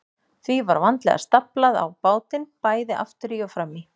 Því var vandlega staflað á bátinn, bæði aftur í og fram í.